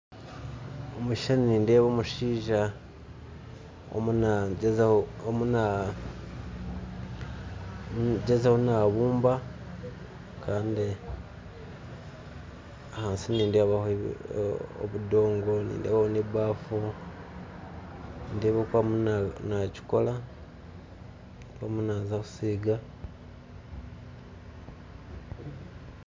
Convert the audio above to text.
Omukishushani nindeebo omushaija omu naagyezaho nabumba kandi ahansi nindebaho obudongo, nindebaho n'ebafu, nindeeba oku arimu nakikora.